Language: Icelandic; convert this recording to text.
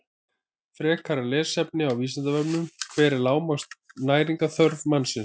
Frekara lesefni á Vísindavefnum: Hver er lágmarks næringarþörf mannsins?